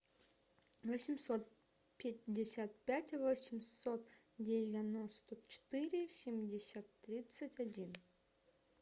восемьсот пятьдесят пять восемьсот девяносто четыре семьдесят тридцать один